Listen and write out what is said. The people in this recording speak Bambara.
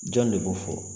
Jɔn de b'o fɔ